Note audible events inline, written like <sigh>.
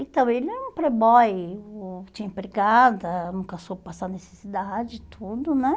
Então, ele era um, <unintelligible> hum tinha empregada, nunca soube passar necessidade, tudo, né?